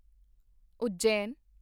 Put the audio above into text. Ujjain